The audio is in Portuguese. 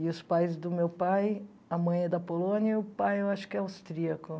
E os pais do meu pai, a mãe é da Polônia e o pai eu acho que é austríaco.